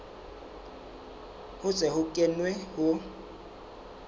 ho se ho kenwe ho